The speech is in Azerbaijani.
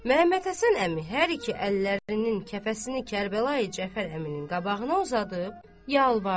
Məmmədhəsən əmi hər iki əllərinin kəfəsini Kərbəlayı Cəfər əminin qabağına uzadıb yalvardı.